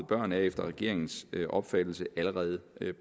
børn er efter regeringens opfattelse allerede